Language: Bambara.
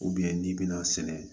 n'i bɛna sɛnɛ